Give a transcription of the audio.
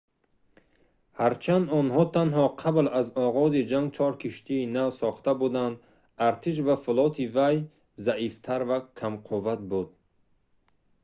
ҳарчанд онҳо танҳо қабл аз оғози ҷанг чор киштии нав сохта буданд артиш ва флоти вай заифтар ва камқувват буд